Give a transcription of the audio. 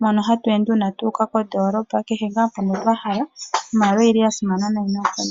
mono hatu ende uuna tu uka kondoolopa nakehe mpoka wa hala, ano iimaliwa oya simana noonkondondo.